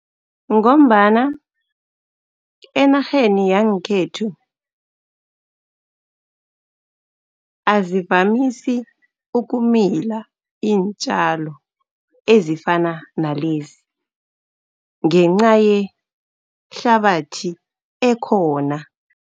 Ngombana enarheni yangekhethu azivamisi ukumila iintjalo ezifana nalezi, ngenca yehlabathi ekhona.